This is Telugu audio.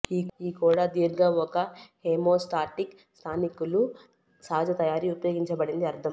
ఈ కూడా దీర్ఘ ఒక హెమోస్టాటిక్ స్థానికులు సహజ తయారీ ఉపయోగించబడింది అర్థం